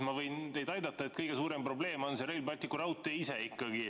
Ma võin teid aidata: kõige suurem probleem on ikkagi Rail Balticu raudtee ise.